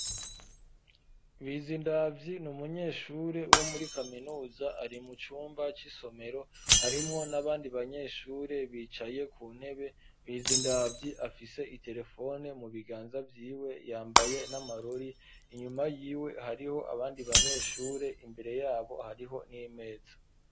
Bizindavyi ni umunyeshure wo muri kaminuza, ari mu cumba c'isomero, harimwo n'abandi banyeshure bicaye ku ntebe; Bizindavyi afise iterefone mu biganza vyiwe, yambaye n'amarori; inyuma yiwe hariho abandi banyeshure, imbere y'abo hariho n'imeza.